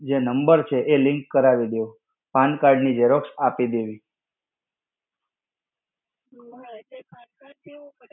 જે number છે એ link કરાવી દો. Pan card ની Xerox આપી દેવી.